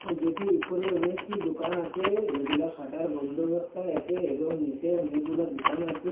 যেটির উপরে অনেকটি দুকান আচে যেগুলা শাটার বন্ধ অবস্থায় আচে এবং অনেকগুলা দুকান আচে।